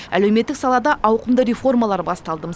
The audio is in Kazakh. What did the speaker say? әлеуметтік салада ауқымды реформалар басталды